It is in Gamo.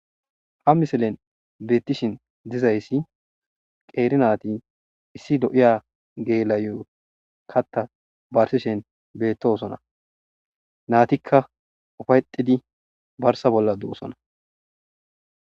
ha misilen beettishin dizayssi qeeri naati issi lo7iya geela7iyo katta barsishen beettosona naatikka ufayetidi barsa bolla doosona.